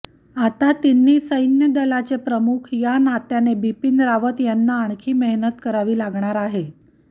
आता तिन्ही सैन्य दलाचे प्रमुख या नात्याने बिपीन रावत यांना आणखी मेहनत करावी लागणार आहे